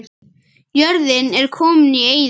Jörðin er komin í eyði.